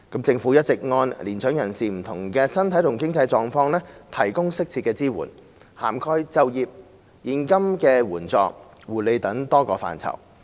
政府一直按年長人士不同的身體和經濟狀況，提供適切支援，涵蓋就業、現金援助、護理等多個範疇。